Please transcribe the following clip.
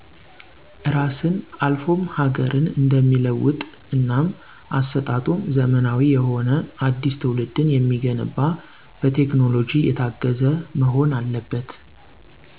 እራስን አልፎም ሀገርን እንደሚለውጥ እናም አሰጣጡም ዘመናዊ የሆነ አዲሰ ትወልድን የሚገነባ በቴክኖሎጂ የታገዘ መሆን አለበት።